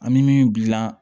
An bɛ min dilan